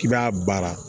K'i b'a baara